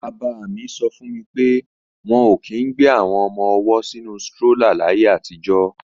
Bàbá mi sọ fún mi pé wọn ò kí í ń gbé àwọn ọmọ-ọwọ́ sínu strólà láyé àtijọ́